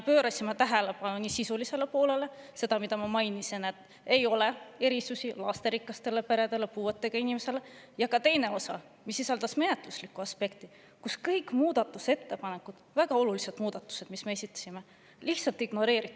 Pöörasime tähelepanu nii sisulisele poolele – sellele, mida ma juba mainisin, et ei ole erisusi lasterikastele peredele, puuetega inimestele – kui ka menetluslikule aspektile, et kõiki muudatusettepanekuid, väga olulisi muudatusi, mis me esitasime, lihtsalt ignoreeriti.